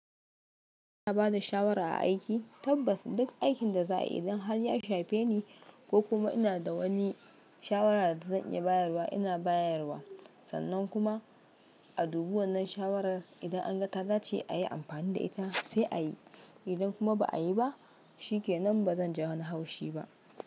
Ina bada shawara a aiki tabbas duk aikin da za'a yi idan har ya shafe ni ko kuma ina da wani shawara da zan iya bayarwa ina bayarwa. Sannan kuma a dubi wannan shawarar idan an ga ta dace a yi amfani da ita sai a yi. Idan kuma ba a yi ba shikenan bazan ji wani haushi ba.